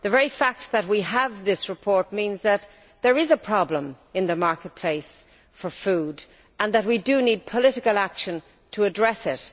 The very fact that we have this report means that there is a problem in the marketplace for food, and that we do need political action to address it.